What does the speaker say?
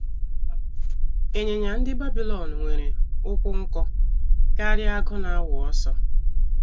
Ịnyịnya ndị Babilọn nwere ụkwụ nkọ karịa agụ na - awụ ọsọ.